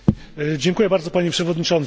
Dziękuję bardzo, Panie Przewodniczący!